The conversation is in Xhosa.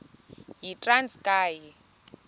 yitranskayi